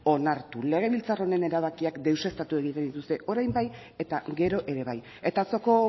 onartu legebiltzar honen erabakiak deuseztatu egiten dituzte orain bai eta gero ere bai eta atzoko